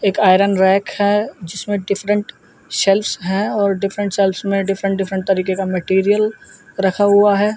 एक iron rack है जिसमें डिफ्रन्ट सेल्फस हैं और डिफ्रन्ट सेल्फस मे डिफ्रन्ट डिफ्रन्ट तरीके का मटीरीअल रखा हुआ है।